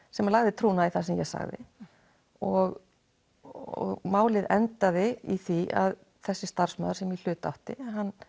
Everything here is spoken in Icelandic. sem lagði trúnað í það sem ég sagði og og málið endaði í því að þessi starfsmaður sem í hlut átti